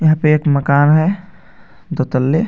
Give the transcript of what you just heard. यहां पे एक मकान है दो तल्ले.